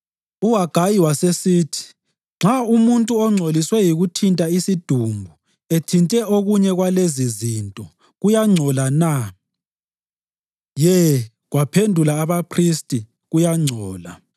UHagayi wasesithi, “Nxa umuntu ongcoliswe yikuthinta isidumbu ethinta okunye kwalezizinto, kuyangcola na?” “Ye,” kwaphendula abaphristi, “kuyangcola.”